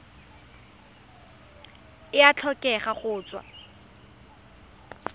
e a tlhokega go tswa